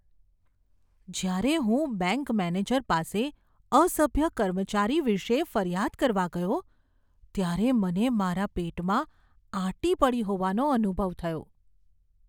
જ્યારે હું bank manager પાસે અસભ્ય કર્મચારી વિશે ફરિયાદ કરવા ગયો ત્યારે મને મારા પેટમાં આંટી પડી હોવાનો અનુભવ થયો.